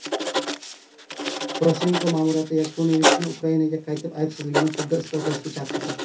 Poroshenko ma’muriyati Yanukovichni Ukrainaga qaytib, aybsizligini sudda isbotlashga chaqirdi.